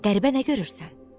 Qəribə nə görürsən?